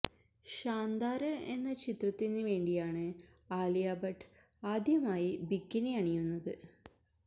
ഷാന്ദാര് എന്ന ചിത്രത്തിന് വേണ്ടിയാണ് ആലിയ ഭട്ട് ആദ്യമായി ബിക്കിനി അണിയുന്നത്